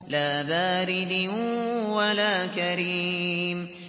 لَّا بَارِدٍ وَلَا كَرِيمٍ